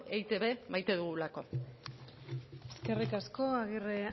eitb maite dugulako eskerrik asko agirre